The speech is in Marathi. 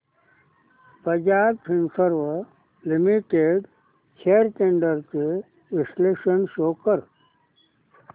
Bajaj Finserv limited shares trends चे विश्लेषण शो कर